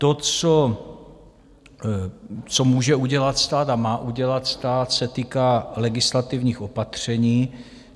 To, co může udělat stát a má udělat stát, se týká legislativních opatření.